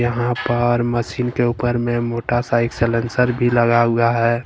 वहां पर मशीन के ऊपर में मोटरसाइकिल साइलेंसर भी लगा हुआ है।